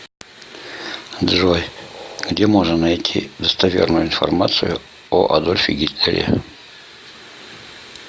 джой где можно найти достоверную информацию о адольфе гитлере